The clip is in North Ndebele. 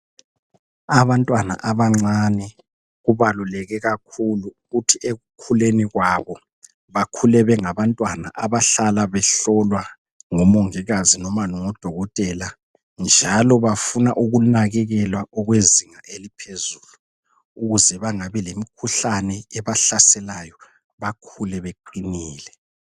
Abantwana abancane kubaluleke kakhulu ukuthi ekukhuleni kwabo bakhule bengabantwana abahlala behlolwa ngomongikazi noma ngodokotela njalo bafuna ukunakekelwa okwezinga eliphezulu ukuze bangabi lemikhuhlane ebahlaselayo bakhule beqinile.